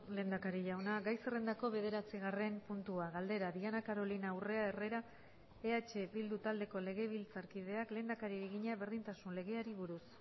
lehendakari jauna gai zerrendako bederatzigarren puntua galdera diana carolina urrea herrera eh bildu taldeko legebiltzarkideak lehendakariari egina berdintasun legeari buruz